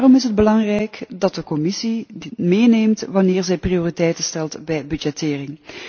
Daarom is het belangrijk dat de Commissie dit meeneemt wanneer zij prioriteiten stelt bij budgettering.